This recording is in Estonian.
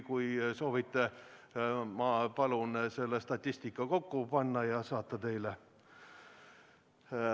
Kui soovite, ma palun selle statistika kokku panna ja teile saata.